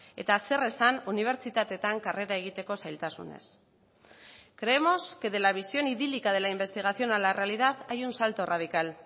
eta zer esan unibertsitateetan karrera egiteko zailtasunez creemos que de la visión idílica de la investigación a la realidad hay un salto radical